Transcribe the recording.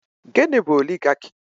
Gịnị bụ Oligaki?